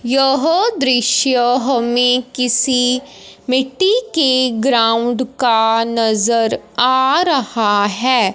यह दृश्य हमें किसी मिट्टी के ग्राउंड का नजर आ रहा है।